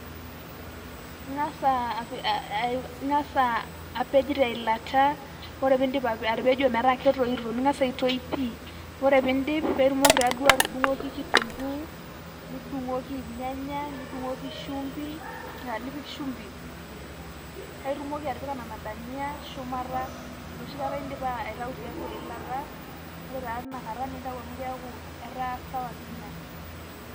Ing'asa api Ing'asa apej teilat, ore piidip atepejo metaa ketoito. Ning'asa atoi pii. Ore tidip paitumoki taduo atudung'oki kitunkuu, nidung'oki irnyanya, nidung'oki shumbi, ah nipik shumbi, paitumoki atipika nena dania ,shumata enoshi akata idipa aitau tiatua eilata. Ore taa tinakata, nintau amu keeku etaa sawa piinya.